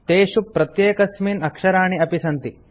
तेषु प्रत्येकस्मिन् अक्षराणि अपि सन्ति